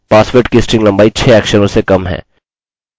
हम इस चर्चा को अपने अगले ट्यूटोरियल में जारी रखेंगे